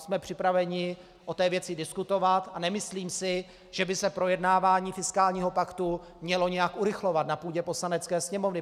Jsme připraveni o té věci diskutovat a nemyslím si, že by se projednávání fiskálního paktu mělo nějak urychlovat na půdě Poslanecké sněmovny.